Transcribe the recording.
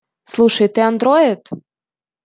слушай это андроид